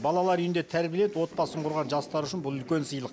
балалар үйінде тәрбиеленіп отбасын құрған жастар үшін бұл үлкен сыйлық